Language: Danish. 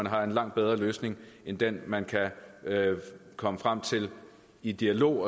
har en langt bedre løsning end den man kan komme frem til i dialog